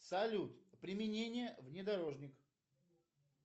салют применение внедорожник